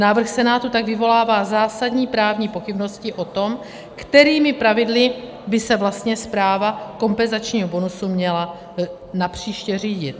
Návrh Senátu tak vyvolává zásadní právní pochybnosti o tom, kterými pravidly by se vlastně správa kompenzačního bonusu měla napříště řídit.